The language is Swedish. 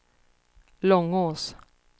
Långås